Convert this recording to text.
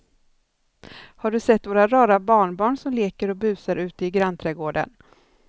Har du sett våra rara barnbarn som leker och busar ute i grannträdgården!